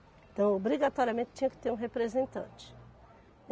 Então, obrigatoriamente tinha que ter um representante.